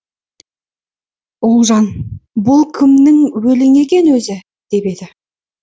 ұлжан бұл кімнің өлеңі екен өзі деп еді